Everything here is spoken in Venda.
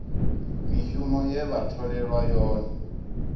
mishumo ye vha tholelwa yone